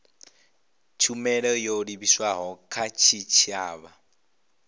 tshumelo yo livhiswaho kha tshitshavha